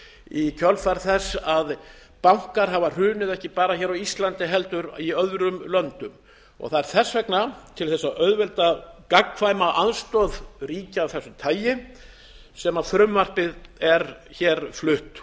í kjölfar þess að bankar hafa hrunið ekki bara á íslandi heldur í öðrum löndum það er þess vegna til að auðvelda gagnkvæma aðstoð ríkja af þessu tagi sem frumvarpið er flutt